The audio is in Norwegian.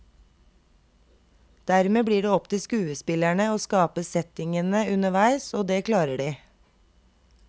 Dermed blir det opp til skuespillerne å skape settingene underveis, og det klarer de.